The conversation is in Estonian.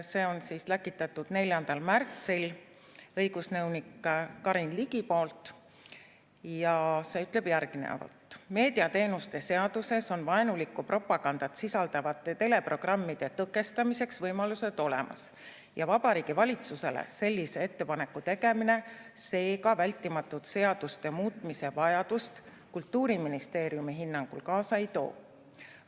Selle läkitas 4. märtsil õigusnõunik Karin Ligi ja see ütleb järgnevat: "Meediateenuste seaduses on vaenulikku propagandat sisaldavate teleprogrammide tõkestamiseks võimalused olemas ja Vabariigi Valitsusele sellise ettepaneku tegemine seega vältimatut seaduste muutmise vajadust Kultuuriministeeriumi hinnangul kaasa ei too.